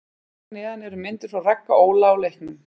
Hér að neðan eru myndir frá Ragga Óla á leiknum.